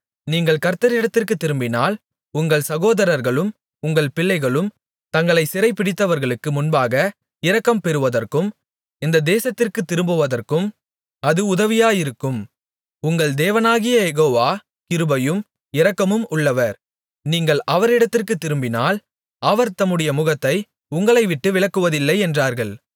நீங்கள் கர்த்தரிடத்திற்குத் திரும்பினால் உங்கள் சகோதரர்களும் உங்கள் பிள்ளைகளும் தங்களை சிறைபிடித்தவர்களுக்கு முன்பாக இரக்கம் பெறுவதற்கும் இந்த தேசத்திற்குத் திரும்புவதற்கும் அது உதவியாயிருக்கும் உங்கள் தேவனாகிய யெகோவா கிருபையும் இரக்கமும் உள்ளவர் நீங்கள் அவரிடத்திற்குத் திரும்பினால் அவர் தம்முடைய முகத்தை உங்களைவிட்டு விலக்குவதில்லை என்றார்கள்